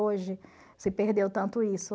Hoje se perdeu tanto isso.